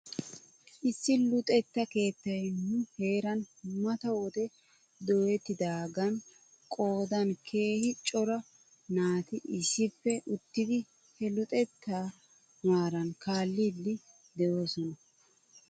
Issi luxetta keettay nu heeran mata wode dooyettidaagan qoodan keehi cora naat issippei uttidi he luxettaa maaran kaalliiddi doosona .